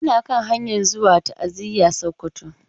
Ina kan hanyan zuwa ta'aziya a Sokoto.